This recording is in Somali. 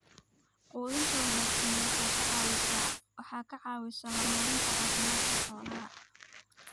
Quudinta wanaagsani waxay ka caawisaa horumarinta caafimaadka xoolaha.